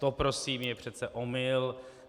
To prosím je přece omyl.